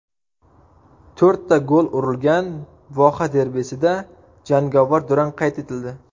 To‘rtta gol urilgan voha derbisida jangovar durang qayd etildi .